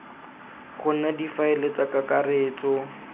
go nna difaele tsa kakaretso